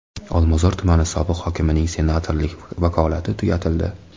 Olmazor tumani sobiq hokimining senatorlik vakolati tugatildi.